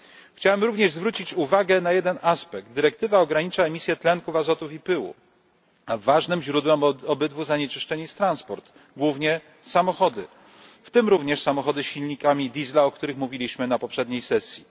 Chciałem również zwrócić uwagę na jeden aspekt dyrektywa ogranicza emisję tlenków azotu i pyłów, a ważnym źródłem obydwu zanieczyszczeń jest transport, głównie samochody, w tym również samochody z silnikami Diesla, o których mówiliśmy na poprzedniej sesji.